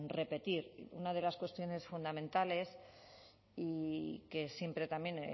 repetir una de las cuestiones fundamentales y que siempre también